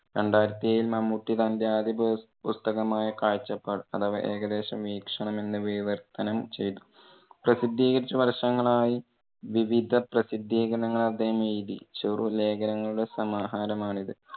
രണ്ടായിരത്തി ഏഴിൽ മമ്മൂട്ടി തന്റെ ആദ്യ പുസ്~ പുസ്തകമായ കാഴ്ചപാട് അഥവാ ഏകദേശ വീക്ഷണം എന്നു വിവർത്തനം ചെയ്തു. പ്രസിദ്ധീകരിച്ചു വർഷങ്ങൾ ആയി വിവിധ പ്രസിദ്ധികരണങ്ങൾ അദ്ദേഹം എഴുതി. ചെറുലേഖനങ്ങളുടെ സമാഹാരം ആണ് ഇത്.